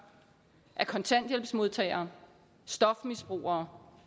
af kontanthjælpsmodtagere stofmisbrugere